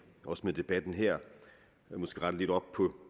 også med debatten her måske rette lidt op